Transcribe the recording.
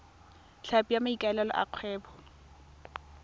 tlhapi ka maikaelelo a kgwebo